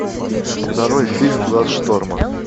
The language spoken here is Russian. нарой фильм глаз шторма